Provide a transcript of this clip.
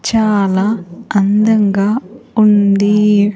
చాలా అందంగా ఉంది.